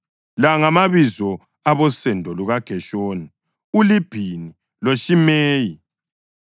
La ngamabizo abosendo lukaGeshoni: uLibhini loShimeyi.